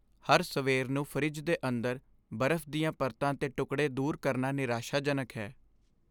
ਹਰ ਸਵੇਰ ਨੂੰ ਫਰਿੱਜ ਦੇ ਅੰਦਰ ਬਰਫ਼ ਦੀਆਂ ਪਰਤਾਂ 'ਤੇ ਟੁਕੜੇ ਦੂਰ ਕਰਨਾ ਨਿਰਾਸ਼ਾਜਨਕ ਹੈ।